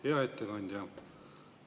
Hea ettekandja!